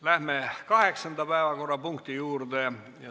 Läheme kaheksanda päevakorrapunkti juurde.